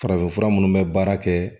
Farafinfura munnu bɛ baara kɛ